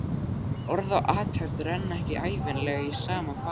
En orð og athöfn renna ekki ævinlega í sama farveg.